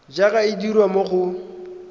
jaaka e dirwa mo go